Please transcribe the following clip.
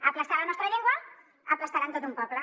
aplastant la nostra llengua aplastaran tot un poble